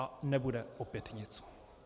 A nebude opět nic.